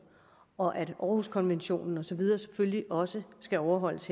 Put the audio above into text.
og at århuskonventionen og så videre selvfølgelig også skal overholdes